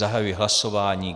Zahajuji hlasování.